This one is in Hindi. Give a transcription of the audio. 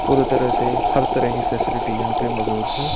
पूरी तरह से हर तरह की फैसिलिटी यहाँ पे मौजूद है।